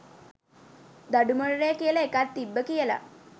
දඬු මොනරය කියල එකක් තිබ්බ කියල